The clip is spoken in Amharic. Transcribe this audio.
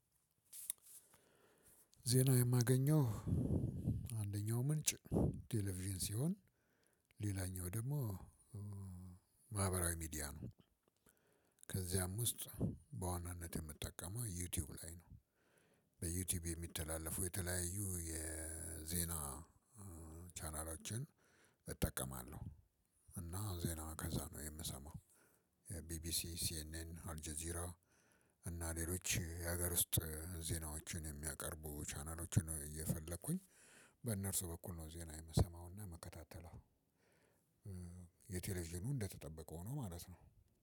ዜና የማገኘው አንደኛው ምንጭ ቴሌቪዥን ሲሆን ሌላኛው ደግሞ ማህበራዊ ሚዲያ ነው። ከዚያም ውስጥ በዋናነት የምትጠቀመው ዩቲዩብ ላይ ነው። በዩቲዩብ የሚተላለፉ የተለያዩ የዜና ቻናሎችን እጠቀማለሁ እና ዜና ከዛ ነው የምሰማው። የቢቢሲ ሲኤንኤን አልጀዚራ እና ሌሎች የሀገር ውስጥ ዜናዎችን የሚያቀርቡ ቻናሎችን እየፈለኩኝ በእነርሱ በኩል ነው ዜና የምሰማውና ይምከታተለው አሁን። የቴሌዥኑ እንደተጠበቀው ሆኖ ማለት ነው